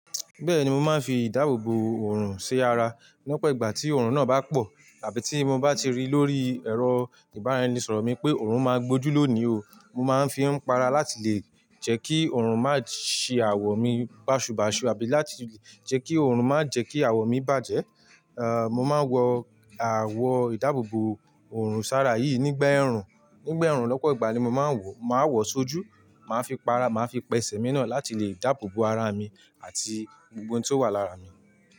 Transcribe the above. Bẹ́ẹ̀ni, mo máa ń fi ìdáàbòbò òrùn ṣe ara lọ́pọ̀ ìgbà tí òrùn náà bá pọ̀ àbí tí mo bá ti rí lórí ẹ̀rọ ìbánisọ̀rọ̀ mi pé òrùn máa gbójú lónìí o, mo máa ń fi í para láti lè jẹ́ kí òrùn má ṣe awọ mi bàṣubàṣu àbí láti lè jẹ́ kí òrùn má jẹ́ kí awọ mi bàjẹ́. À, mo máa ń wọ awọ ìdáàbòbò òrùn sára yìí nígbà ẹ̀rùn, nígbà ẹ̀rùn lọ́pọ̀ ìgbà ni mo máa ń wọ̀. Màá wọ̀ sójú, màá fi pa ara, màá fi pẹsẹ̀ mi náà láti lè dábòbò ara mi àti gbogbo ohun tí ó wà lára mi.